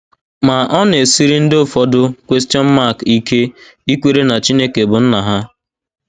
Ma, ọ na - esiri ndị ụfọdụ ike ikwere na Chineke bụ Nna ha.